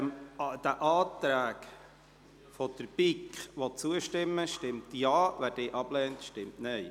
Wer den Anträgen der BiK zustimmen will, stimmt Ja, wer diese ablehnt, stimmt Nein.